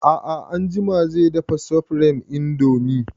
A'a anjima zai dafa supreme indomie